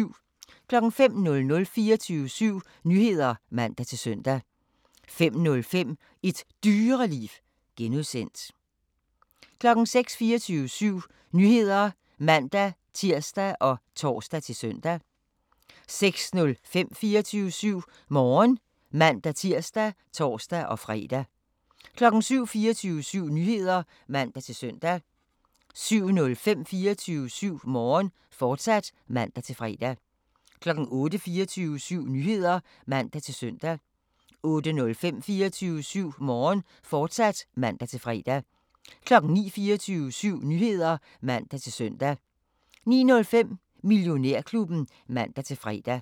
05:00: 24syv Nyheder (man-søn) 05:05: Et Dyreliv (G) 06:00: 24syv Nyheder (man-tir og tor-søn) 06:05: 24syv Morgen (man-tir og tor-fre) 07:00: 24syv Nyheder (man-søn) 07:05: 24syv Morgen, fortsat (man-fre) 08:00: 24syv Nyheder (man-søn) 08:05: 24syv Morgen, fortsat (man-fre) 09:00: 24syv Nyheder (man-søn) 09:05: Millionærklubben (man-fre)